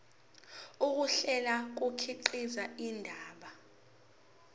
ukuhlela kukhiqiza indaba